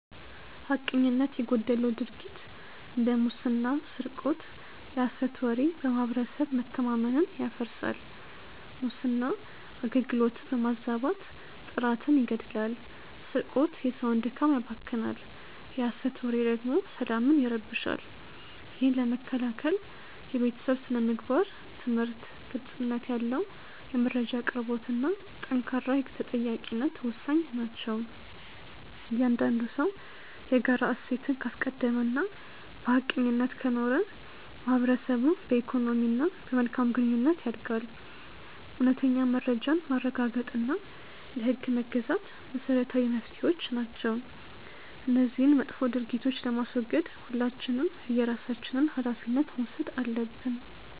ሐቀኝነት የጎደለው ድርጊት እንደ ሙስና ስርቆት የሐሰት ወሬ በማህበረሰብ መተማመንን ያፈርሳል። ሙስና አገልግሎትን በማዛባት ጥራትን ይገድላል ስርቆት የሰውን ድካም ያባክናል የሐሰት ወሬ ደግሞ ሰላምን ይረብሻል። ይህን ለመከላከል የቤተሰብ ስነ-ምግባር ትምህርት፣ ግልጽነት ያለው የመረጃ አቅርቦትና ጠንካራ የህግ ተጠያቂነት ወሳኝ ናቸው። እያንዳንዱ ሰው የጋራ እሴትን ካስቀደመና በሐቀኝነት ከኖረ ማህበረሰቡ በኢኮኖሚና በመልካም ግንኙነት ያድጋል። እውነተኛ መረጃን ማረጋገጥና ለህግ መገዛት መሰረታዊ መፍትሄዎች ናቸው። እነዚህን መጥፎ ድርጊቶች ለማስወገድ ሁላችንም የየራሳችንን ሃላፊነት መውሰድ አለብን።